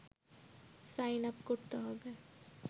sign up করতে হবে